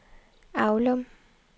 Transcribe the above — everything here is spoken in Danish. Aulum